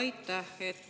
Aitäh!